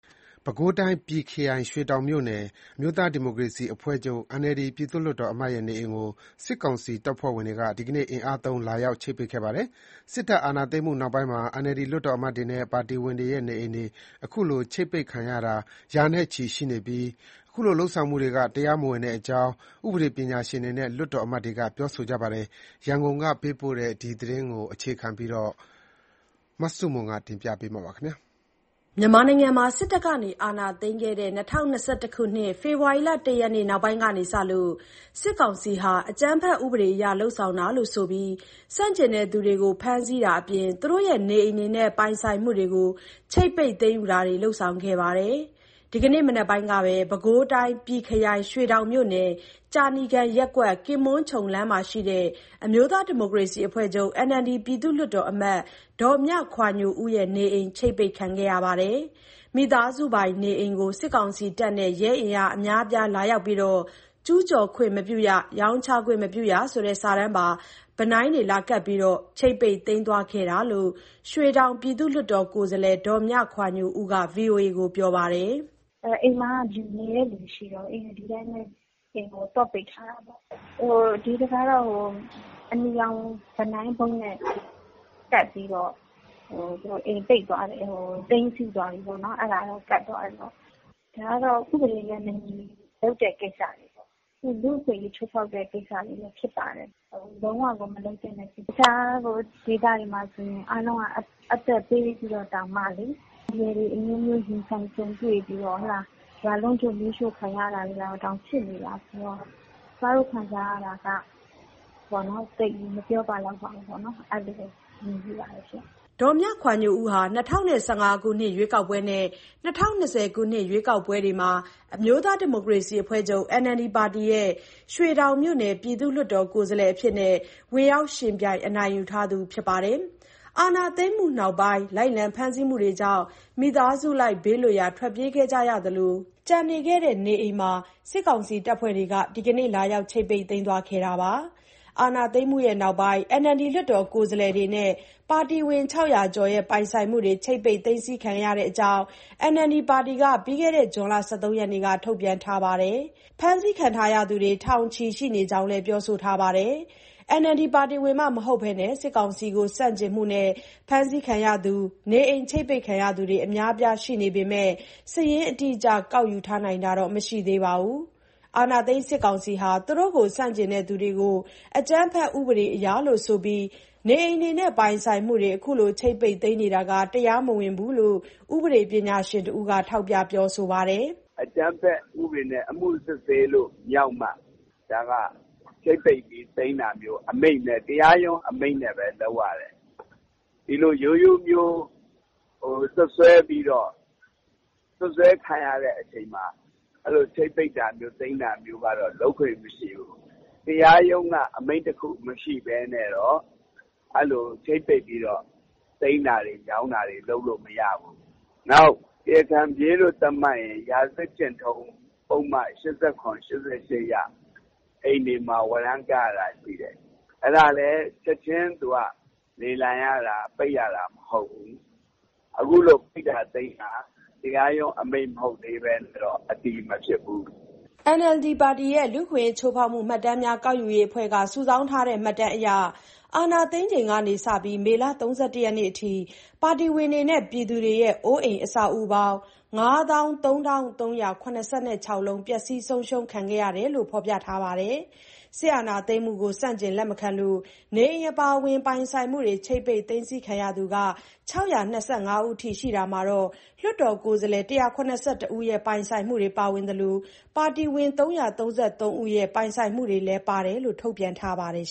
ပဲခူးတိုင်း၊ ပြည်ခရိုင် ရွှေတောင်မြို့နယ်၊ အမျိုးသားဒီမိုကရေစီအဖွဲ့ချုပ် NLD ပြည့်သူလွှတ်တော်အမတ်ရဲ့ နေအိမ်ကို စစ်ကောင်စီတပ်ဖွဲ့တွေက ဒီကနေ့ အင်အားသုံး လာရောက် ချိပ်ပိတ်ခဲ့ပါတယ်။ စစ်တပ် အာဏာသိမ်းမှု နောက်ပိုင်းမှာ NLD လွှတ်တော်အမတ်တွေနဲ့ ပါတီဝင်တွေရဲ့ နေအိမ်တွေ ခုလို ချိပ်ပိတ်ခံရတာ ရာနဲ့ချီ ရှိနေပြီး ခုလို လုပ်ဆောင်မှုတွေက တရားမဝင်တဲ့အကြောင်း ဥပဒေပညာရှင်တွေနဲ့ လွှတ်တော်အမတ်တွေက ပြောဆိုကြပါတယ်။ ရန်ကုန်က ပေးပို့တဲ့သတင်းကို မဆုမွန်က တင်ပြပေးပါမယ်။ မြန်မာနိုင်ငံမှာ စစ်တပ်အာဏာသိမ်းခဲ့တဲ့ ၂၀၂၁ ခုနှစ် ဖေဖော်ဝါရီလ ၁ ရက် နောက်ပိုင်းကစလို့ စစ်ကောင်စီဟာ အကြမ်းဖက်ဥပဒေ အရ လုပ်ဆောင်တာလို့ ဆိုပြီး ဆန့်ကျင်သူတွေကို ဖမ်းဆီးတာအပြင် သူတို့ရဲ့ နေအိမ်တွေနဲ့ ပိုင်ဆိုင်မှုတွေကို ချိပ်ပိတ် သိမ်းယူတာတွေ လုပ်ဆောင်ခဲ့တာပါ။ ဒီကနေ့ မနက်ပိုင်းကပဲ ပဲခူးတိုင်း ပြည်ခရိုင် ရွှေတောင်မြို့နယ် ကြာနီကန်ရပ်ကွက် ကင်ပွန်းခြုံလမ်းမှာရှိတဲ့ အမျိုးသားဒီမိုကရေစီအဖွဲ့ချုပ် NLD ပြည့်သူလွှတ်တော်အမတ် ဒေါ်မြခွာညိုဦး ရဲ့ နေအိမ် ချိပ်ပိတ် ခံခဲ့ရပါတယ်။ မိသားစုပိုင် နေအိမ်ကို စစ်ကောင်စီတပ်နဲ့ ရဲအင်အား အများအပြား လာရောက်ပြီး “ကျူးကျော်ခွင့်မပြုရ၊ ရောင်းချခွင့်မပြုရ” ဆိုတဲ့စာတန်းပါ ဗီနိုင်း လာကပ်ပြီး ချိပ်ပိတ်သိမ်း သွားခဲ့တာလို့ ရွှေတောင် ပြည်သူ့လွှတ်တော်ကိုယ်စားလှယ် ဒေါ်မြခွာညိုဦးက ဗွီအိုအေကို ပြောပါတယ်။ "အိမ်မှာက နေတဲ့သူ မရှိတော့ဘူး။ ဒီတိုင်းပဲ အိမ်ကို သော့ပိတ်ထားတာ။ အနီရောင်ဗီနိုင်းနဲ့ အိမ်ကို သိမ်းဆည်းသွားပြီဆိုတာ ကပ်သွားတယ်။ ဒါက ဥပဒေနဲ့မညီဘဲ လုပ်တဲ့ ကိစ္စတွေပေါ့။ လူ့အခွင့်အရေး ချိုးဖောက်တဲ့ ကိစ္စတွေလည်း ဖြစ်ပါတယ်။ လုံးဝကို မလုပ်သင့်တဲ့ကိစ္စ။ တခြား ဒေသတွေမှာဆိုရင် အသက်ပေးပြီး အန္တရာယ်တွေ အမျိုးမျိုး ရင်ဆိုင်ကြုံတွေ့ပြီးတော့ ရွာလုံးကျွတ် မီးရှို့ခံရတာတွေ ဖြစ်နေ တာဆိုတော့ ကျမ ခံစားရတာက ဘာမှ မပြောပလောက်ပါဘူး။" ဒေါ်မြခွာညိုဦးဟာ ၂၀၁၅ ခုနှစ် ရွေးကောက်ပွဲ နဲ့ ၂၀၂၀ ခုနှစ် ရွေးကောက်ပွဲတွေမှာ အမျိုးသားဒီမိုကရေစီအဖွဲ့ချုပ် NLD ပါတီ ရဲ့ ရွှေတောင်မြို့နယ် ပြည်သူ့လွှတ်တော် ကိုယ်စားလှယ်အဖြစ် ဝင်ရောက်ယှဉ်ပြိုင် အနိုင်ရထားသူ ဖြစ်ပါတယ်။ အာဏာသိမ်းမှုနောက်ပိုင်း လိုက်လံ ဖမ်းဆီးမှုတွေကြောင့် မိသားစုလိုက် ဘေးလွတ်ရာ ထွက်ပြေးခဲ့ရသလို၊ ကျန်နေခဲ့တဲ့ နေအိမ်မှာ စစ်ကောင်စီ တပ်ဖွဲ့တွေက ဒီကနေ့ လာရောက် ချိပ်ပိတ်သိမ်းသွားခဲ့တာပါ။ အာဏာသိမ်းမှု နောက်ပိုင်း NLD လွှတ်တော်ကိုယ်စားလှယ်တွေနဲ့ ပါတီဝင် ၆၀၀ ကျော်ရဲ့ ပိုင်ဆိုင်မှုတွေ ချိပ်ပိတ် သိမ်းဆည်း ခံခဲ့ရတဲ့အကြောင်း NLD ပါတီက ပြီးခဲ့တဲ့ ဇွန်လ ၁၃ ရက်နေ့က ထုတ်ပြန်ထားပါတယ်။ ဖမ်းဆီးခံရသူတွေ ထောင်ချီရှိ နေကြောင်းလည်း ပြောဆိုထားပါတယ်။ NLD ပါတီဝင်မှ မဟုတ်ဘဲ စစ်ကောင်စီကို ဆန့်ကျင်မှုနဲ့ ဖမ်းဆီးခံရ၊ နေအိမ် ချိပ်ပိတ် ခံရသူတွေ အများအပြား ရှိနေပေမဲ့ စာရင်းအတိအကျ ကောက်ယူထား နိုင်တာတော့ မရှိသေးပါဘူး။ အာဏာသိမ်း စစ်ကောင်စီဟာ သူတို့ကို ဆန့်ကျင်သူတွေကို အကြမ်းဖက် ဥပဒေအရလို့ ဆိုပြီး နေအိမ်တွေနဲ့ ပိုင်ဆိုင်မှုတွေ ခုလို ချိ့ပ်ပိတ်သိမ်းနေတာတွေက တရားမဝင်ဘူးလို့ ဥပဒေပညာရှင်တဦးက ထောက်ပြ ပြောဆိုပါတယ်။ "အကြမ်းဖက်ဥပဒေနဲ့ အမှုစစ်ဆေးလို့ မြောက်မှ ချိတ်ပိတ်သိမ်းတာမျိုး။ ဒါက တရားရုံးအမိန့်နဲ့ပဲ လုပ် ရတယ်။ ဒီလို ရိုးရိုးစွပ်စွဲပြီးတော့ စွပ်စွဲခံရတုန်းမှာ ချိတ်ပိတ်တာမျိုး သိမ်းတာမျိုး လုပ်ခွင့်မရှိဘူး။ တရားရုံးက အမိန့်တခု မရှိဘဲနဲ့တော့ ချိတ်ပိတ်ပြီး သိမ်းတာ၊ ရောင်းတာ လုပ်မရဘူး။ နောက် တရားခံပြေးလို့ သတ်မှတ်ရင်လည်း ရာဇဝတ်ကျင့်ထုံး ၈၇၊ ၈၈ အရ အိမ်တွေမှာ ဝရန်းကတ်ရတာ ရှိတယ်။ အဲဒါလဲ ချက်ချင်း လေလံရတာ ပိတ်ရတာမဟုတ်ဘူး။ အခုလို ပိတ်တာသိမ်းတာတွေက တရားရုံး အမိန့်မဟုတ်ရင် အတည်မဖြစ်ပါဘူး။" NLD ပါတီရဲ့ လူ့အခွင့်အရေးချိုးဖောက်မှု မှတ်တမ်းများ ကောက်ယူရေးအဖွဲ့က စုစည်းထားတဲ့ မှတ်တမ်းအရ အာဏာသိမ်းချိန်ကနေ မေလ ၃၁ ထိ ပါတီဝင်တွေနဲ့ ပြည်သူတွေရဲ့ အိုးအိမ် အဆောက်အဦးပေါင်း ၅၃,၃၇၆ လုံး ပျက်စီးဆုံးရှုံး ခံခဲ့ရတယ်လို့ ဖော်ပြထားပါတယ်။ စစ်အာဏာ သိမ်းမှုကို ဆန့်ကျင် လက်မခံလို့ နေအိမ်အပါအဝင် ပိုင်ဆိုင်မှုတွေ ချိပ်ပိတ် သိမ်းဆည်းခံရသူ ၆၂၅ ဦး ရှိတာမှာ၊ လွှတ်တော်ကိုယ်စားလှယ် ၁၇၁ ဦးရဲ့ ပိုင်ဆိုင်မှုတွေ ပါဝင်သလို၊ ပါတီဝင် ၃၃၃ ဦးရဲ့ ပိုင်ဆိုင်မှုတွေလည်းပါတယ်လို့ ထုတ်ပြန်ထားပါတယ်